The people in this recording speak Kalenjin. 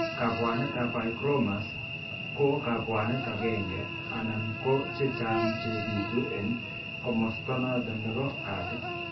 Kabwanet ab hygromas ko kabwanet agenge anan ko chechang che bitu en komosto noton nebo katit